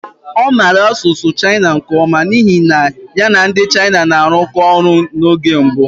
Ọ maara asụsụ Chinese nke ọma n'ihi na ya na ndị China na-arụkọ ọrụ n'oge mbụ.